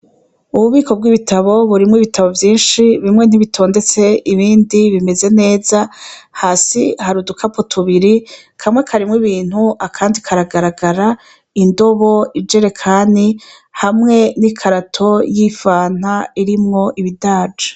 Ububiko bw'ibitabo burimwo ibitabo vyinshi bimwe ntibitondetse ibindi bimeze neza hasi hari udukapu tubiri kamwe karimwo ibintu akandi karagaragara indobo ijerekani hamwe n'i karato y'ifanta irimwo ibidaja.